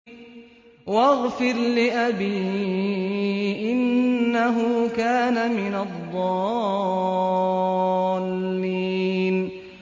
وَاغْفِرْ لِأَبِي إِنَّهُ كَانَ مِنَ الضَّالِّينَ